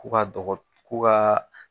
Ko ka dɔgɔ k'u kaa